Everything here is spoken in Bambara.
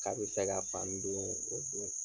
K'a be fɛ ka fani don o don.